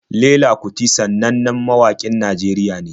Fela kuti sannannen mawaƙin Najeriya ne.